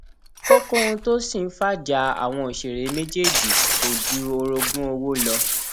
kókó ohun tó ṣì ń fajà àwọn òṣèré méjèèjì kò ju orogún owó lọ